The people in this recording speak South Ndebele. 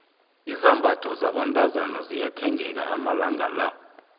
izambatho zabentazana ziyathengeka amalanga la